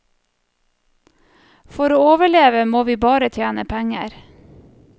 For å overleve må vi bare tjene penger.